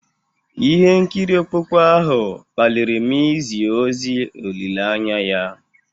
Ihe nkiri okpukpe ahụ kpaliri m izi ozi olileanya ya.